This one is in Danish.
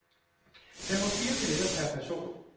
Der var fire billetter per person.